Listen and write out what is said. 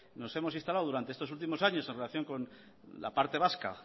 nos hemos instalado durante estos últimos años en relación con la parte vasca